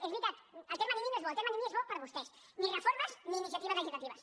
i és veritat el terme nini no és bo el terme nini és bo per a vostès ni reformes ni iniciatives legislatives